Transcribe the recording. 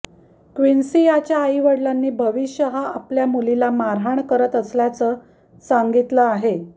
क्विन्सीयाच्या आईवडीलांनी भविष्य हा आपल्या मुलीला मारहाण करत असल्याच सांगितलं आहे